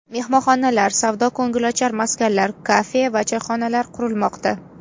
Mehmonxonalar, savdo-ko‘ngilochar maskanlar, kafe va choyxonalar qurilmoqda.